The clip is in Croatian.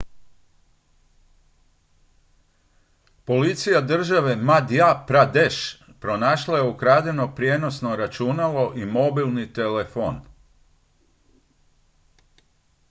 policija države madhya pradesh pronašla je ukradeno prijenosno računalo i mobilni telefon